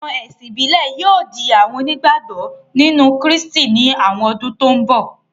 Àwọn ẹ̀sìn ìbílẹ̀ yóò di àwọn onígbàgbọ́ nínú Krístì ní àwọn ọdún tó n bọ̀